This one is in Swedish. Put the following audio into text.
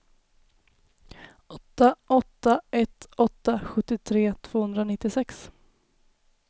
åtta åtta ett åtta sjuttiotre tvåhundranittiosex